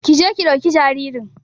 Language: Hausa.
Ƙi je ki dauki jaririn.